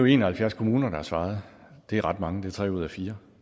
en og halvfjerds kommuner der har svaret og det er ret mange det er tre ud af fire